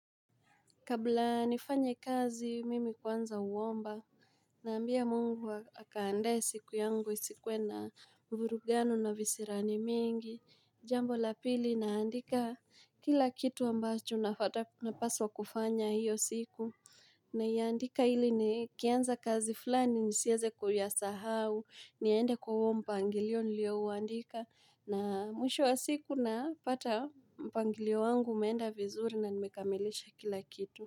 Kabla nifanye kazi, mimi kwanza uwomba. Naambia mungu akaandaye siku yangu isikuwe na vurugano na visirani mingi. Jambo la pili naandika kila kitu ambacho napaswa kufanya hiyo siku. Naiandika hili nikianza kazi fulani nisieze kuyasahau. Niende kwa hui mpangilio nilio uandika. Na mwisho wa siku napata mpangilio wangu umeenda vizuri na nimekamilisha kila kitu.